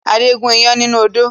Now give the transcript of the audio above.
Adé gun iyán nínú odó